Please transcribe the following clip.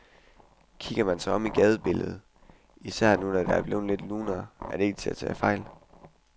Kigger man sig om i gadebilledet, især nu hvor det er blevet lidt lunere, er det ikke til at tage fejl.